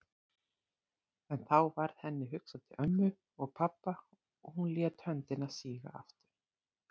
En þá varð henni hugsað til ömmu og pabba og hún lét höndina síga aftur.